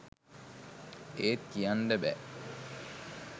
ඒත් කියන්ඩ බෑ